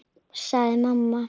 sagði mamma.